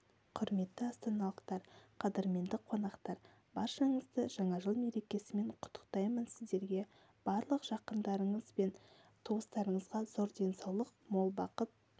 құрметті астаналықтар қадірменді қонақтар баршаңызды жаңа жыл мерекесімен құттықтаймынсіздерге барлық жақындарыңыз бен туыстарыңызға зор денсаулық мол бақыт